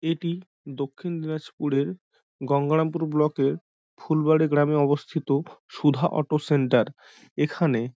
এটি দক্ষিণ দিনাজপুরের গঙ্গারামপুরে ব্লকে -এর ফুলবাড়ি গ্রামে অবস্থিত সুধা অটো সেন্টার এখানে--